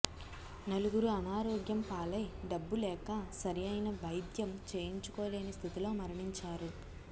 నలుగురు అనారోగ్యం పాలై డబ్బులేక సరైన వైద్యం చేయించుకోలేని స్థితిలో మరణించారు